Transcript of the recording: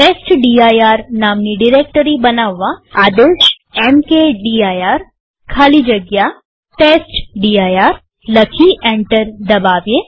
testdir નામની directory બનાવવાઆદેશ mkdir ખાલી જગ્યા ટેસ્ટડિર લખી એન્ટર દબાવીએ